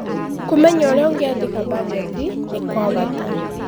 Kũmenya ũrĩa ũngĩandĩka banjeti nĩ gwa bata.